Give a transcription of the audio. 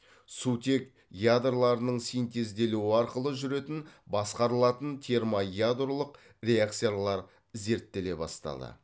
сутек ядроларының синтезделуі арқылы жүретін басқарылатын термоядролық реакциялар зерттеле бастады